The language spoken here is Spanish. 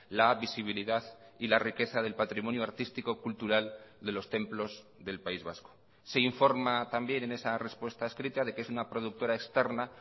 la visibilidad y la riqueza del patrimonio artístico cultural de los templos del país vasco se informa también en esa respuesta escrita de que es una productora externa